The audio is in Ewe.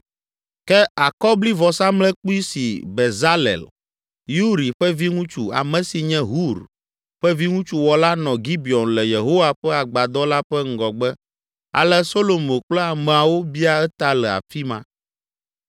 Ke akɔblivɔsamlekpui si Bezalel, Uri ƒe viŋutsu, ame si nye Hur ƒe viŋutsu wɔ la nɔ Gibeon le Yehowa ƒe agbadɔ la ƒe ŋgɔgbe ale Solomo kple ameawo bia eta le afi ma.